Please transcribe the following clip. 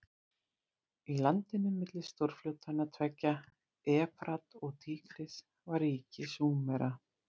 Í landinu milli stórfljótanna tveggja, Efrat og Tígris, var ríki Súmera.